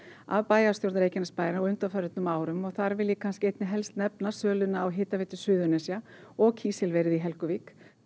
af bæjarstjórn Reykjanesbæjar á undanförnum árum og þar vil ég kannski einna helst nefna söluna á Hitaveitu Suðurnesja og kísilverið í Helguvík